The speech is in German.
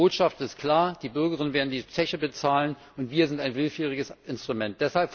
Die Botschaft ist klar Die Bürgerinnen und Bürger werden die Zeche bezahlen, und wir sind ein willfähriges Instrument.